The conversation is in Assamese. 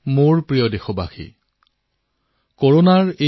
মোৰ মৰমৰ দেশবাসীসকল নমস্কাৰ